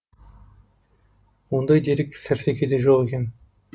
ондай дерек сәрсекеде жоқ екен